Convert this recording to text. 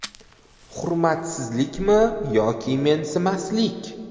Hurmatsizlikmi yoki mensimaslik?